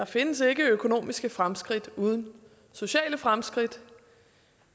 findes økonomiske fremskridt uden sociale fremskridt